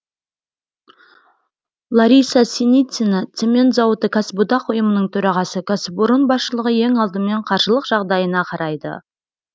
лариса синицина цемент зауыты кәсіподақ ұйымының төрағасы кәсіпорын басшылығы ең алдымен қаржылық жағдайына қарайды